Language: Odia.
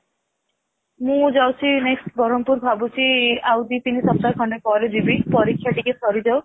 ମୁଁ ଯାଉଛି next ବ୍ରହ୍ମପୁର ଭାବୁଛି ଆଉ ଦି ତିନି ସପ୍ତାହ ଖଣ୍ଡେ ପରେ ଯିବି ପରୀକ୍ଷା ଟିକେ ସରିଯାଉ